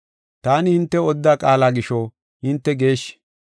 Taani hintew odida qaala gisho hinte geeshshi.